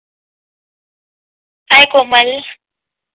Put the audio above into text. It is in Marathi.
हाय कोमल